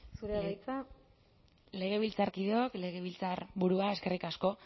zurea da hitza legebiltzarkideok legebiltzarburua eskerrik asko